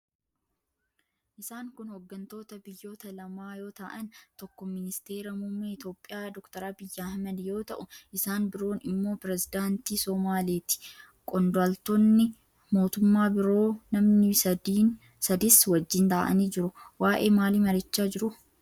Isaan kun hooggantoota biyyoota lamaa yoo ta'an, tokko ministeera muummee Itiyoophiyaa Dr. Abiy Ahmad yoo ta'u, isaan biroon immoo pirezidaantii Somaaleeti. Qondaaltonni mootummaa biroo namni sadiis wajjin taa'anii jiru. Waa'ee maalii mari'achaa jiru?